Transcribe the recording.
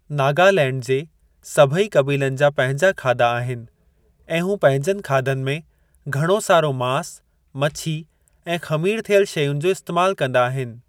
नागालैंड जे सभई क़बीलनि जा पंहिंजा खाधा आहिनि ऐं हू पंहिंजनि खाधनि में घणो सारो मांस, मछी ऐं ख़मीर थियलु शैयुनि जो इस्तैमालु कंदा आहिनि।